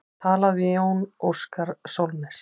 Talað við Jón Óskar Sólnes.